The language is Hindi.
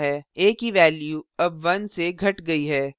a की value अब 1 से घट गयी है